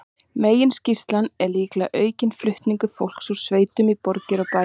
Meginskýringin er líklega aukinn flutningur fólks úr sveitum í borgir og bæi.